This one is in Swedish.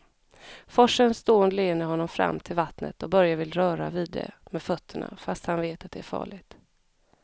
Forsens dån leder honom fram till vattnet och Börje vill röra vid det med fötterna, fast han vet att det är farligt.